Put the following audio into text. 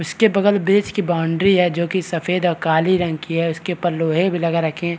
इसके बगल बेस की बाउंड्री है जो की काली और सफ़ेद रंग की है उसके ऊपर लोहे भी लगा रखे हैं ।